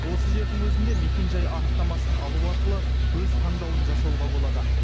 осы жердің өзінде мекенжай анықтамасын алу арқылы өз таңдауын жасауға болады